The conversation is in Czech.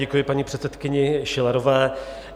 Děkuji paní předsedkyni Schillerové.